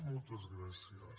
moltes gràcies